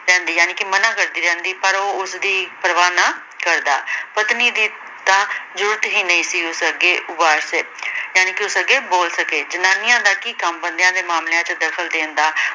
ਜਾਣੀਕੀ ਮਨਾਂ ਕਰਦੀ ਰਹਿੰਦੀ। ਪਰ ਉਹ ਉਸਦੀ ਪ੍ਰਵਾਹ ਨਾ ਕਰਦਾ। ਪਤਨੀ ਦੀ ਤਾਂ ਜ਼ੁਰਅਤ ਹੀ ਨਹੀਂ ਸੀ ਉਸ ਅਗੇ ਜਾਣੀਕੀ ਉਸ ਅਗੇ ਬੋਲ ਸਕੇ। ਜਨਾਨੀਆਂ ਦਾ ਕੀ ਕੰਮ ਬੰਦਿਆਂ ਦੇ ਮਾਮਲਿਆਂ ਚ ਦਖ਼ਲ ਦੇਣ ਦਾ।